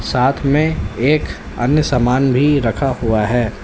साथ में एक अन्य सामान भी रखा हुआ है।